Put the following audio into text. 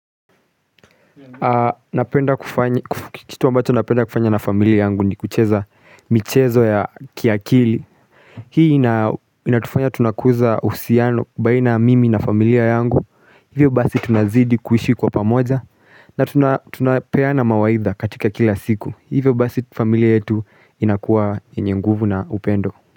Kitu ambacho napenda kufanya na familia yangu ni kucheza michezo ya kiakili Hii inatufanya tunakuza uhusiano baina mimi na familia yangu Hivyo basi tunazidi kuhishi kwa pamoja na tunapeana mawaidha katika kila siku Hivyo basi familia yetu inakuwa yenye nguvu na upendo.